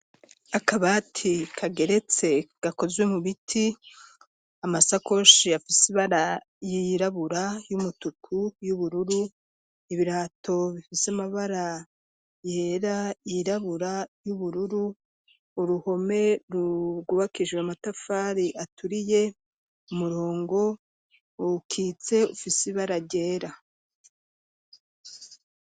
Akabati kageretse gakozwe mu biti, amasakoshi afise ibara y'irabura y'umutuku y'ubururu, ibirato bifise amabara yera yirabura y'ubururu, uruhome rwubakishijwe amatafari aturiye umurongo ukitse ufise ibara ryera.